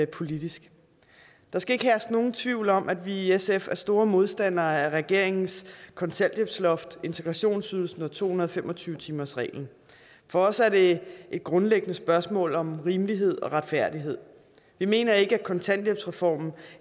politisk der skal ikke herske nogen tvivl om at vi i sf er store modstandere af regeringens kontanthjælpsloft integrationsydelsen og to hundrede og fem og tyve timersreglen for os er det et grundlæggende spørgsmål om rimelighed og retfærdighed vi mener ikke at kontanthjælpsreformen